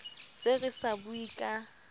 se re sa bue ka